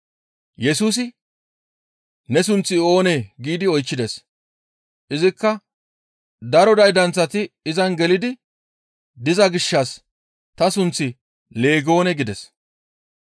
Yesusi, «Ne sunththi oonee?» giidi oychchides; izikka daro daydanththati izan gelidi diza gishshas ta sunththi, «Leegoone» gides.